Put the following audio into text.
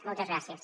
moltes gràcies